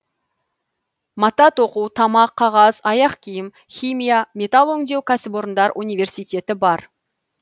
мата тоқу тамақ қағаз аяқ киім химия металл өңдеу кәсіпорындар университеті бар